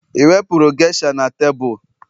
i wepụrụ geisha na tebụl